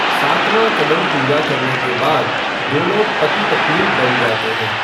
सातवां कदम पूरा करने के बाद दोनों पति पत्नी बन जाते हैं।